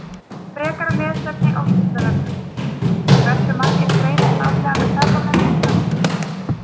Frekara lesefni á Vísindavefnum: Hversu margir greinast árlega með krabbamein á Íslandi?